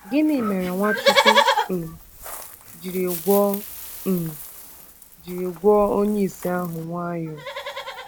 Gịnị mere Nwachukwu um ji gwọọ um ji gwọọ onye ìsì ahụ nwayọ nwayọ?